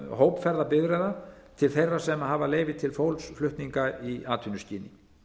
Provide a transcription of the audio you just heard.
hópferðabifreiða til þeirra sem hafa leyfi til fólksflutninga í atvinnuskyni